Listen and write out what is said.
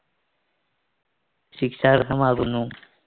ശിക്ഷാർഹമാവുന്നു.